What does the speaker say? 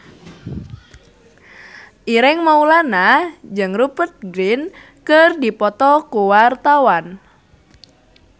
Ireng Maulana jeung Rupert Grin keur dipoto ku wartawan